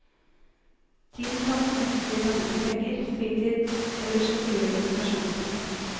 Tiden kan enten bli tatt ut i penger, fritid eller som tillegg i pensjonspremien.